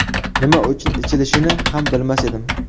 Nima uchun ichilishini ham bilmas edim.